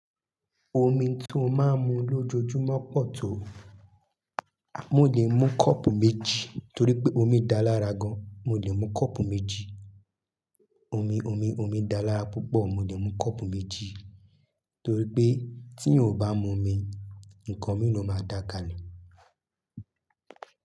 Omi tó máa ń mu lójoojúmọ́ pọ̀ tó, mò lè mú kọ́ọ̀pù méjì torí pé omi dáa lára gan. Mo lè mu kọ́pù méjì, omi omi omi dáa lára púpọ̀, torípé tí èèyàn ò bá mu omi ǹkan mi lòmá dá kalẹ̀.